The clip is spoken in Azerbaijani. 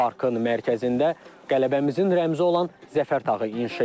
Parkın mərkəzində qələbəmizin rəmzi olan Zəfər tağı inşa edilir.